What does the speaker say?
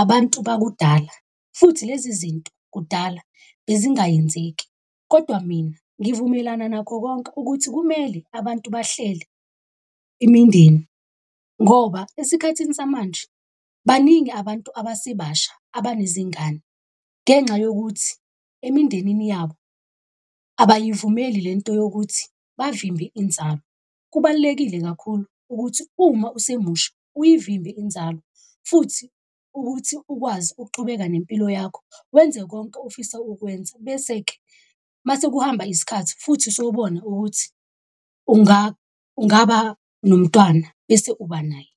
abantu bakudala, futhi lezi zinto kudala bezingayenzeki. Kodwa mina ngivumelana nakho konke ukuthi kumele abantu bahlele imindeni, ngoba esikhathini samanje baningi abantu abasebasha abanezingane ngenxa yokuthi emindenini yabo abayivumeli lento yokuthi bavimbe inzalo. Kubalulekile kakhulu ukuthi uma usemusha uyivimbe inzalo, futhi ukuthi ukwazi ukuqhubeka nempilo yakho, wenze konke ofisa ukwenza, bese-ke mase kuhamba isikhathi futhi sobona ukuthi ungaba nomntwana bese uba naye.